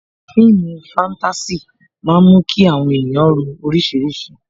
Fíìmù fatasi máa ń mú kí àwọn ènìyàn ro orísìírísìí